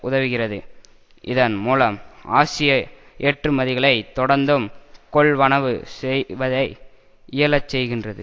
உதவுகிறது இதன் மூலம் ஆசிய ஏற்றுமதிகளை தொடர்ந்தும் கொள்வனவு செய்வதை இயலச் செய்கின்றது